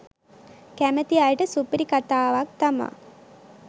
කැමති අයට සුපිරි කතාවක් තමා